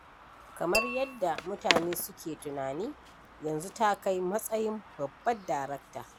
Kamar yadda mutane suke tunani, yanzu takai matsayin babbar darakta.